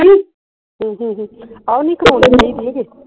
ਹਮ ਹਮ ਹਮ ਆਹ ਨਹੀਂ